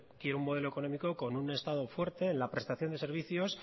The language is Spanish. quiero un modelo económico con un estado fuerte en la prestación de servicios